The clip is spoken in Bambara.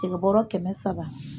Cɛkɛbɔrɔ kɛmɛ saba.